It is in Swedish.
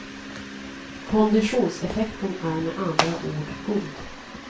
Konditionseffekten är med andra ord god.